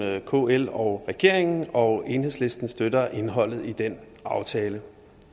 kl og regeringen og enhedslisten støtter indholdet i den aftale